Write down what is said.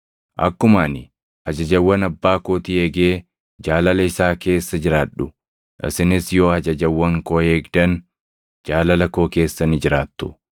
Akkuma ani ajajawwan Abbaa kootii eegee jaalala isaa keessa jiraadhu, isinis yoo ajajawwan koo eegdan jaalala koo keessa ni jiraattu.